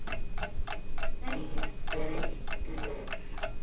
Er ég þreyttur?